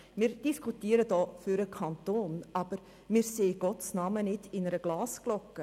Wir diskutieren hier über den Kanton, aber wir befinden uns nicht in einer Glasglocke.